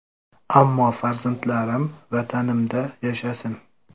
Ammo farzandlarim Vatanimda yashasin”.